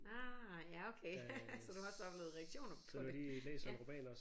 Ah ja okay så du har også oplevet reaktioner på det ja